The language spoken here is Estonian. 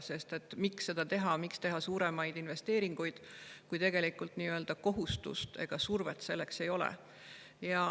Sest miks seda teha, miks teha suuremaid investeeringuid, kui kohustust ega survet selleks ei ole.